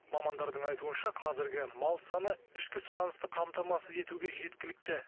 мамандардың айтуынша қазіргі мал саны ішкі сұранысты қамтамасыз етуге жеткілікті